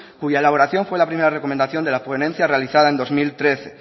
cuya elaboración fue la primera recomendación de la ponencia realizada en dos mil trece